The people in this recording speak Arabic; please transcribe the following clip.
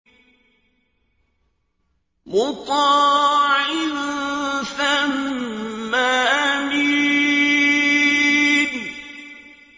مُّطَاعٍ ثَمَّ أَمِينٍ